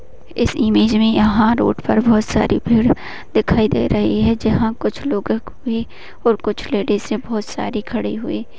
इस इमेज में यहाँ पर रोड पे बहोत सारी भीड़ दिखाई दे रही है जहा पर कुछ लोगो को कुछ लेडिस है बहुत सरती खड़ी हुई है।